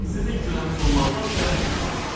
Sizin köləəniz olmaqdan şərəf duyuram!